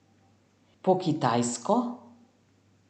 Po kitajsko?